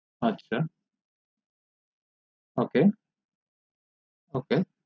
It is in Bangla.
আচ্ছা ok ok